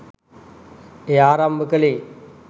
එය ආරම්භ කළේ